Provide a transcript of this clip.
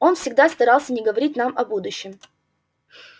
он всегда старался не говорить нам о будущем